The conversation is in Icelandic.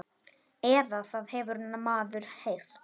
Eða það hefur maður heyrt.